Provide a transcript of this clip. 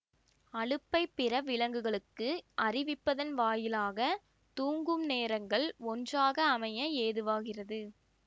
அலுப்பைப் பிற விலங்குகளுக்கு அறிவிப்பதன் வாயிலாக தூங்கும் நேரங்கள் ஒன்றாக அமைய ஏதுவாகிறது